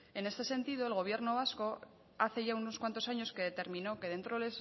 en este sentido el gobierno vasco hace ya unos cuantos años que determinó que dentro de